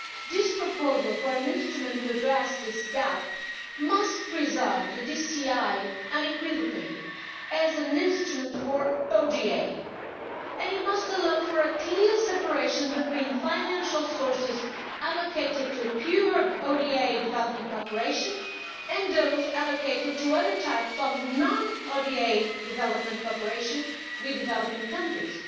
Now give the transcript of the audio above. This proposal for an instrument to address this gap must preserve the DCI unequivocally as an instrument for ODA and it must allow for a clear separation between financial sources allocated to pure ODA development cooperation and those allocated to other types of non ODA development cooperation with developing countries.